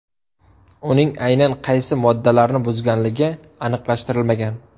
Uning aynan qaysi moddalarni buzganligi aniqlashtirilmagan.